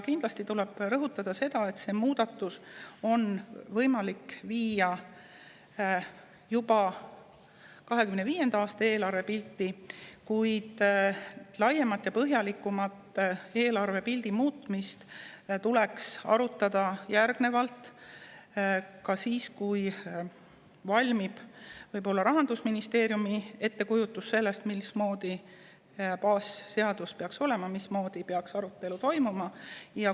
Kindlasti tuleb rõhutada seda, et see muudatus on võimalik viia sisse juba 2025. aasta eelarvepilti, kuid laiemat ja põhjalikumat eelarvepildi muutmist tuleks arutada edaspidi – siis, kui valmib Rahandusministeeriumi ettekujutus sellest, missugune peaks baasseadus olema ja mismoodi peaks arutelu toimuma.